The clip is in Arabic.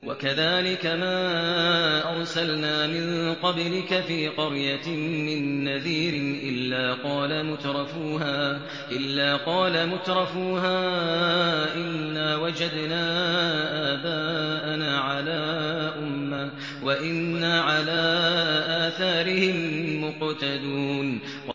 وَكَذَٰلِكَ مَا أَرْسَلْنَا مِن قَبْلِكَ فِي قَرْيَةٍ مِّن نَّذِيرٍ إِلَّا قَالَ مُتْرَفُوهَا إِنَّا وَجَدْنَا آبَاءَنَا عَلَىٰ أُمَّةٍ وَإِنَّا عَلَىٰ آثَارِهِم مُّقْتَدُونَ